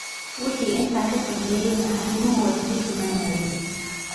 Wixii intaa ka dambeeyayna arrimuhu way sii xumaanayeen.